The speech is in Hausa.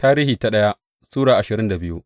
daya Tarihi Sura ashirin da biyu